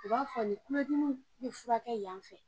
U b'a f'o ye kulodimi te furakɛ yan fɛ